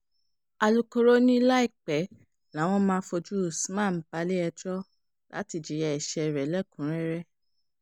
alūkkóró ni láìpẹ́ làwọn máa fojú usman balẹ̀-ẹjọ́ láti jìyà ẹsẹ̀ rẹ̀ lẹ́kùn-únrẹ́rẹ́